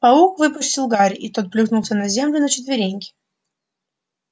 паук выпустил гарри и тот плюхнулся на землю на четвереньки